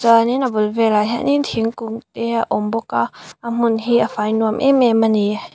chuanin a bul velah hianin thingkung e a awm bawk a a hmun hi a fai nuam em em a ni.